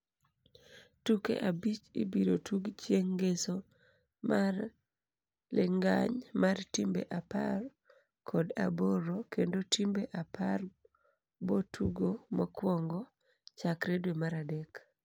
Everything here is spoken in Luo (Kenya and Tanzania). tuke abich ibiro tug chieng ngeso mar lingany mar timbe apar kod aboro kendo timbe apar bo tugo mokuongo chakre dwe mar adek